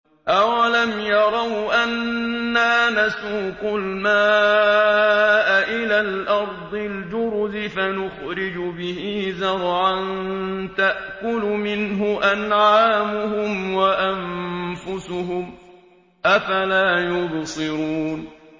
أَوَلَمْ يَرَوْا أَنَّا نَسُوقُ الْمَاءَ إِلَى الْأَرْضِ الْجُرُزِ فَنُخْرِجُ بِهِ زَرْعًا تَأْكُلُ مِنْهُ أَنْعَامُهُمْ وَأَنفُسُهُمْ ۖ أَفَلَا يُبْصِرُونَ